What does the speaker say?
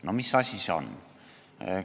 " No mis asi see on?